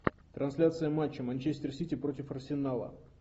трансляция матча манчестер сити против арсенала